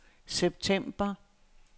september